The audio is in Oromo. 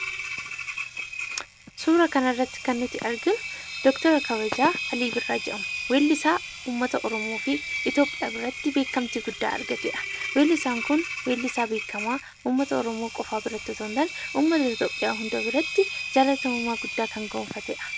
Suura kana irratti kan nuti arginu Dooktara Kabajaa Alii Birraa jedhama. Weellisaa uummata Oromoo fi Itiyoophiyaa biratti beekamtii guddaa argateedha. Weellisaan kun weellisaa beekamaa uummata Oromoo qofaa biratti osoo hin taane, uummata Itiyoophiyaa hunda biratti jaallatamummaa guddaa kan gonfateedha.